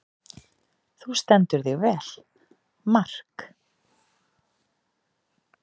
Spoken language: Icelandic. Þú stendur þig vel, Mark!